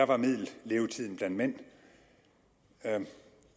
var middellevetiden for mænd